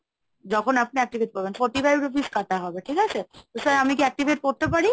যখন আপনি activate করবেন Forty five rupees কাটা হবে, ঠিক আছে? তো sir আমি কি activate করতে পারি?